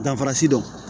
Danfarasi dɔ